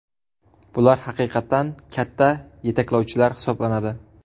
Bular haqiqatan katta yetaklovchilar hisoblanadi.